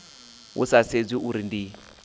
hu sa sedziwi uri ndi